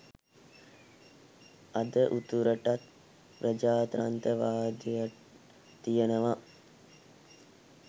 අද උතුරට ප්‍රජාතන්ත්‍රවාදය තියෙනව